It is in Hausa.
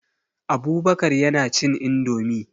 Abubakar yana cin indomie.